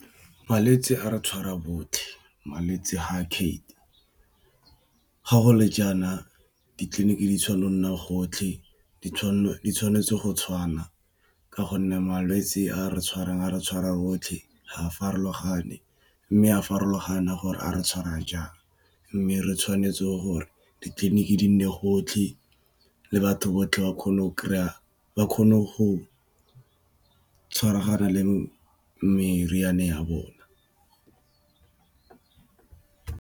Malwetse a re tshwara botlhe malwetse ga a kgethe ga go le jaana ditleliniki di tshwanno nna gotlhe di tshwanetse go tshwana ka gonne malwetsi a re tshwarang a re tshwara botlhe ga a farologane mme a farologane a gore a re tshwara jang mme re tshwanetse gore ditleliniki di nne gotlhe le batho botlhe ba kgone go kry-a ba kgone go tshwaragana le meriana ya bona.